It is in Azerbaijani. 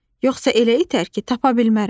Yoxsa elə itər ki, tapa bilmərəm.